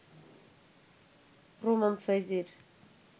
প্রমাণ-সাইজের